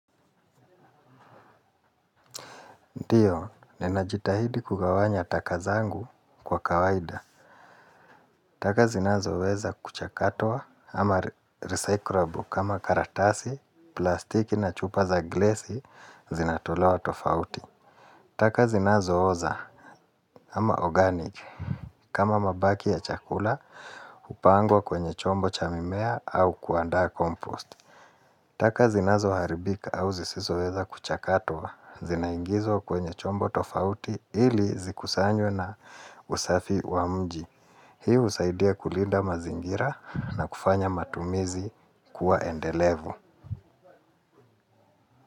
Ndiyo, ninajitahidi kugawanya takazangu kwa kawaida. Taka zinazo weza kuchakatwa ama recyclable kama karatasi, plastiki na chupa za glasi zinatulewa tofauti. Taka zinazo oza ama organic kama mabaki ya chakula hupangwa kwenye chombo cha mimea au kuandaa kompost. Taka zinazo haribika au zisizo weza kuchakatwa, zinaingizwa kwenye chombo tofauti ili zikusanywe na usafi wa mji. Hii husaidia kulinda mazingira na kufanya mazingira kuwa endelevu.